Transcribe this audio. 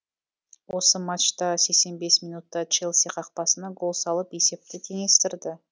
осы матчта сексен бес минутта челси қақпасына гол салып есепті теңестірді